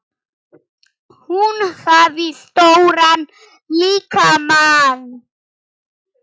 Hún hafði stóran líkama.